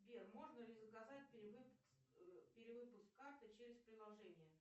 сбер можно ли заказать перевыпуск карты через приложение